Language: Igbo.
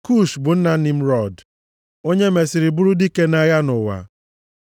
Kush bụ nna Nimrọd, onye mesịrị bụrụ dike nʼagha nʼụwa.